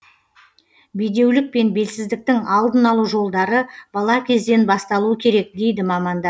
бедеулік пен белсіздіктің алдын алу жолдары бала кезден басталуы керек дейді мамандар